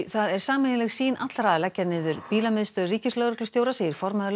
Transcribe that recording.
það er sameiginleg sýn allra að leggja niður bílamiðstöð ríkislögreglustjóra segir formaður